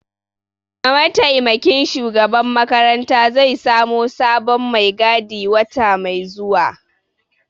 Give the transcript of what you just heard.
Mataimakin shugaban makaranta zai samo sabon mai gadi wata mai zuwa